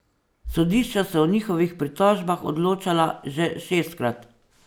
Sodišča so o njihovih pritožbah odločala že šestkrat.